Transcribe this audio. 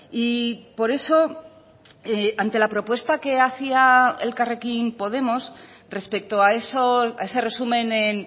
y por eso ante la propuesta que hacia elkarrekin podemos respecto a ese resumen en